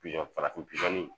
Pizɔn farafin pizɔn